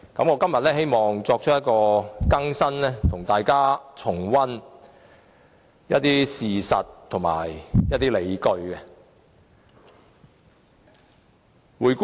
我希望今天提出一些新意見，並跟大家重溫一些事實和理據。